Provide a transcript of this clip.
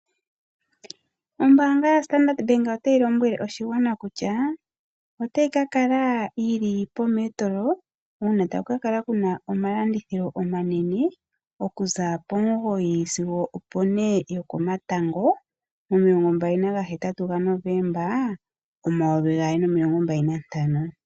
Ombaanga yaStandard Bank otayi lombwele oshigwana kutya otayi ka kala yi li poMetro uuna taku ka kala ku na omalandithilo omanene okuza po09h00 sigo opo 16h00 mo28 Novemba 2025.